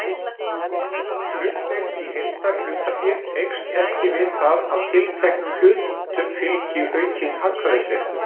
Hlutdeild í heildarhlutafé eykst ekki við það að tilteknum hlutum fylgi aukinn atkvæðisréttur.